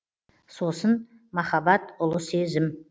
сосын махаббат ұлы сезім